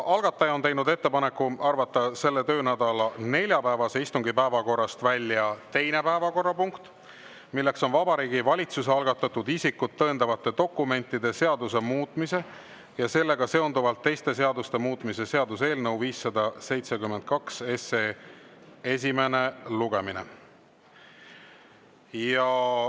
Algataja on teinud ettepaneku arvata selle töönädala neljapäevase istungi päevakorrast välja teine päevakorrapunkt: Vabariigi Valitsuse algatatud isikut tõendavate dokumentide seaduse muutmise ja sellega seonduvalt teiste seaduste muutmise seaduse eelnõu 572 esimene lugemine.